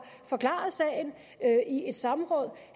forklaret sagen i et samråd